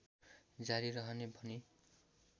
जारी रहने भनी